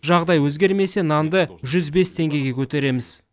жағдай өзгермесе нанды жүз бес теңгеге көтереміз